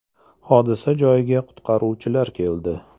Hodisa joyiga qutqaruvchilar keldi.